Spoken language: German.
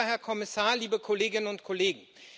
Lieber Herr Kommissar und liebe Kolleginnen und Kollegen!